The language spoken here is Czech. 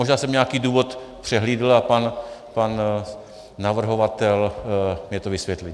Možná jsem nějaký důvod přehlédl a pan navrhovatel mi to vysvětlí.